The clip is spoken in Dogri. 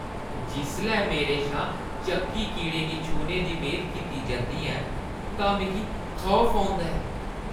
जिसलै मेरे शा चक्की कीड़े गी छूह्‌ने दी मेद कीती जंदी ऐ तां मिगी खौफ औंदा ऐ।